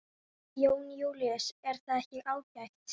Jón Júlíus: Er það ekki ágætt?